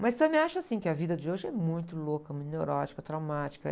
Mas também acho, assim, que a vida de hoje é muito louca, muito neurótica, traumática.